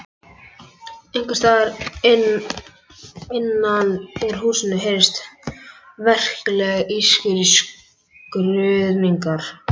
Einhvers staðar innan úr húsinu heyrðist verklegt ískur og skruðningar.